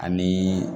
Ani